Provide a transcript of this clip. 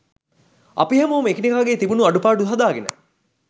අපි හැමෝම එකිනෙකාගේ තිබුණු අඩුපාඩු හදාගෙන